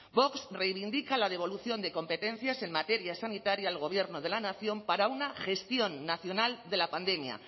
vox reivindica la devolución de competencias en materia sanitaria al gobierno de la nación para una gestión nacional de la pandemia